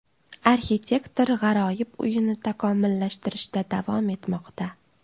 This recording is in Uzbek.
Arxitektor g‘aroyib uyini takomillashtirishda davom etmoqda.